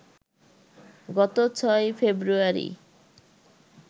গত ৬ ফেব্রুয়ারি